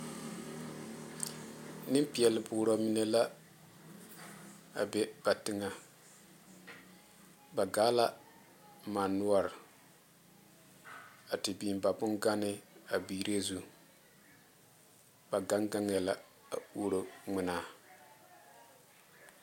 Nenpeɛle boɔrɔ mine la a be ba teŋa ba gaa la mane noɔre a te biŋ ba bongane a biire zu ba gaŋ gaŋa la a oroŋmanaa .